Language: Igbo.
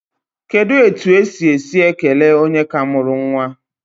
Kedu otu esi esi ekele onye ka mụrụ nwa?